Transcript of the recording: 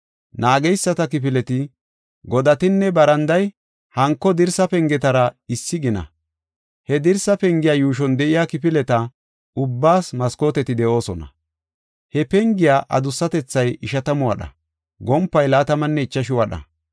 Naageyisata kifileti, godatinne baranday hanko dirsa pengetara issi gina. He dirsa pengiya yuushon de7iya kifileta ubbaas maskooteti de7oosona. He pengiya adussatethay ishatamu wadha; gompay laatamanne ichashu wadha.